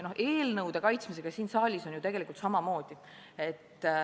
Eelnõude kaitsmisega siin saalis on tegelikult samamoodi.